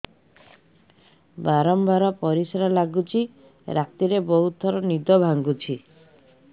ବାରମ୍ବାର ପରିଶ୍ରା ଲାଗୁଚି ରାତିରେ ବହୁତ ଥର ନିଦ ଭାଙ୍ଗୁଛି